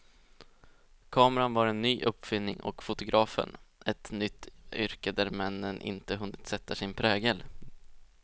Kameran var en ny uppfinning, och fotografen ett nytt yrke där männen inte hunnit sätta sin prägel.